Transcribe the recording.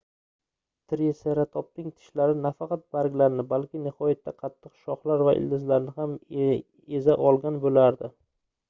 triseratopning tishlari nafaqat barglarni balki nihoyatda qattiq shoxlar va ildizlarni ham eza olgan boʻlardi